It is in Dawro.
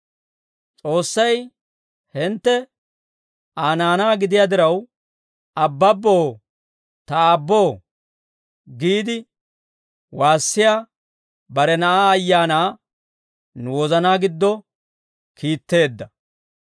S'oossay hintte Aa naanaa gidiyaa diraw, «Abbabboo, ta Aabboo» giide waassiyaa bare Na'aa Ayaanaa, nu wozanaa giddo kiitteedda.